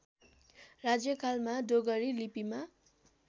राज्यकालमा डोगरी लिपिमा